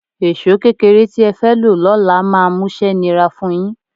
Èṣó kékeré tí ẹ fẹ́ lo lọ́la máa múṣẹ́ nira fun yín